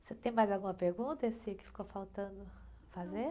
Você tem mais alguma pergunta, que ficou faltando fazer?ão.